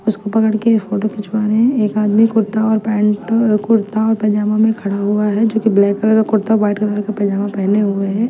उसको पकढ़ के फोटो खिचवा रहे है एक आमदी कुर्ता और पेंट कुर्ता और पजामा मे खड़ा हुआ है जो की ब्लैक कलर का कुर्ता वाइट कलर का पजामा पहने हुए है।